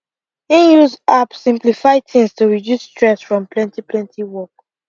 him use app simplify things to reduce stress from plenty plenty work